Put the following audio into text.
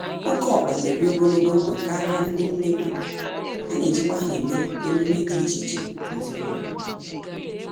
Oké ọkpa n'ebi ogologo ndụ karịa ndị nnekwu, anejikwa ha eme emume dị iche iche nezinụlọ.